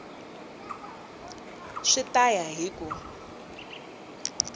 swi ta ya hi ku